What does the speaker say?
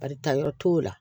Barita yɔrɔ t'o la